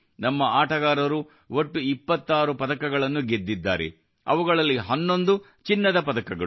ನಮ್ಮ ಆಟಗಾರರು ಒಟ್ಟು 26 ಪದಕಗಳನ್ನು ಗೆದ್ದಿದ್ದಾರೆ ಅವುಗಳಲ್ಲಿ 11 ಚಿನ್ನದ ಪದಕಗಳು